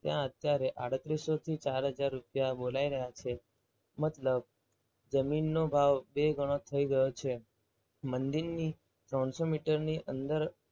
ત્યાં અત્યારે આડત્રીસો થી ચાર હજાર રૂપિયા બોલાઈ રહ્યા છે. મતલબ મતલબ જમીનનો ભાવ બે ગણો થઈ ગયો છે. મંદિરની ત્રણસો મીટર ની અંદર